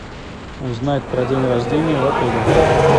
узнать про день рождения в отеле